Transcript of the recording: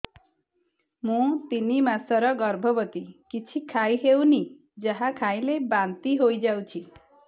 ମୁଁ ତିନି ମାସର ଗର୍ଭବତୀ କିଛି ଖାଇ ହେଉନି ଯାହା ଖାଇଲେ ବାନ୍ତି ହୋଇଯାଉଛି